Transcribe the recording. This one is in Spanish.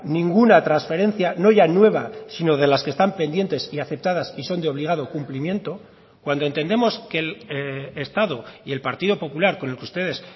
ninguna transferencia no ya nueva sino de las que están pendientes y aceptadas y son de obligado cumplimiento cuando entendemos que el estado y el partido popular con el que ustedes